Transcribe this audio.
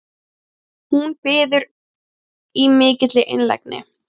Hún biður í mikilli einlægni